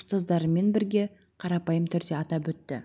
ұстаздарымен бірге қарапайым түрде атап өтті